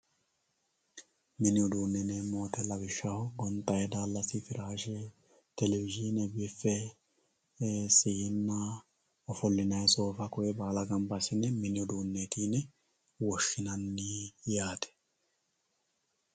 mini uduunne yineemmo woyiite lawishshaho gonxay daallasi firaashe telewizhiine biffe siinnna ofollinayii soofa kuri baala ganba assine mini uduunneeti yine woshshinanni yaate